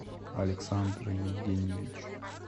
александр евгеньевич